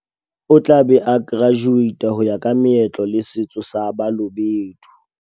O tla be a kerajuweita ho ya ka meetlo le setso sa Ba lobedu.